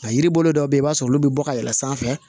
A yiri bolo dɔw bɛ yen i b'a sɔrɔ olu bɛ bɔ ka yɛlɛ sanfɛ